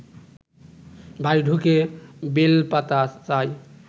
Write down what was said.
বাড়ি ঢুকে বেলপাতা চায়